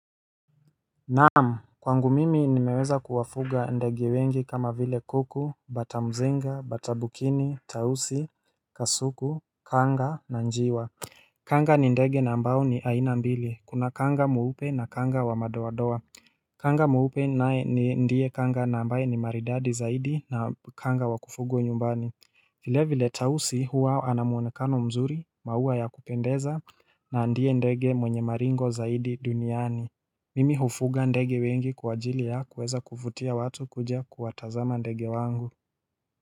Naam kwangu mimi nimeweza kuwafuga ndege wengi kama vile kuku, batamzinga, batabukini, tausi, kasuku, kanga na njiwa Kanga ni ndege na ambao ni aina mbili kuna kanga mweupe na kanga wa madoa doa Kanga mweupe naye ni ndie kanga na ambaye ni maridadi zaidi na kanga wa kufugwa nyumbani vile vile tausi huwa anamuonekano mzuri maua ya kupendeza na ndie ndege mwenye maringo zaidi duniani Mimi hufuga ndege wengi kwa ajili ya kuweza kuvutia watu kuja kuwatazama ndege wangu.